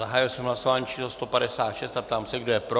Zahájil jsem hlasování číslo 156 a ptám se, kdo je pro.